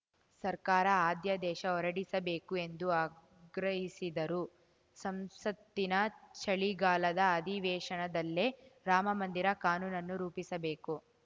ಸರ್ಕಾರ ಅಧ್ಯಾದೇಶ ಹೊರಡಿಸಬೇಕು ಎಂದು ಆಗ್ರಹಿಸಿದರು ಸಂಸತ್ತಿನ ಚಳಿಗಾಲದ ಅಧಿವೇಶನದಲ್ಲೇ ರಾಮಮಂದಿರ ಕಾನೂನನ್ನು ರೂಪಿಸಬೇಕು